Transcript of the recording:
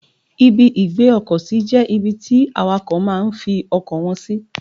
Ibi ìgbé ọkọ̀ sí jẹ́ ibi tí àwàkọ̀ máa ń fi ọkọ̀ wọn sì.